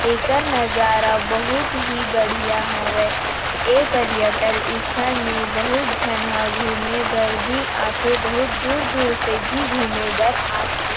एकर नज़ारा बहुत ही बढ़िया हवे ऐ पर्यटन स्थल में बहुत झन ह घूमे भर भी आ थे बहुत दूर-दूर से भी घूमे भर आ थे।